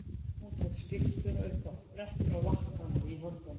Hún tók skyrtuna upp af brettinu og vatt hana í höndunum.